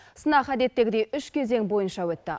сынақ әдеттегідей үш кезең бойынша өтті